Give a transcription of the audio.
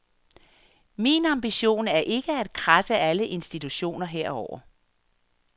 Min ambition er ikke at kradse alle institutioner herover.